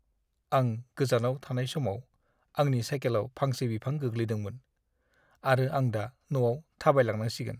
आं गोजानाव थानाय समाव आंनि साइकेलाव फांसे बिफां गोग्लैदोंमोन, आरो आं दा न'आव थाबायलांनांसिगोन।